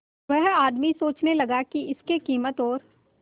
वह आदमी सोचने लगा की इसके कीमत और